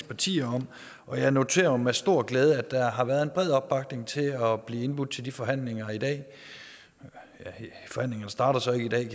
partier om og jeg noterer mig med stor glæde at der har været bred opbakning til at blive indbudt til de forhandlinger i dag forhandlingerne starter så ikke i dag